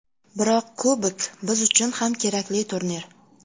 Biroq kubok biz uchun ham kerakli turnir.